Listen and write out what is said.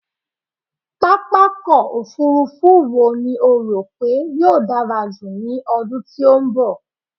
Pápákọ̀ òfurufú eo ni o rò pé yóò dárá jù ní ọdún tí ó ń bọ̀?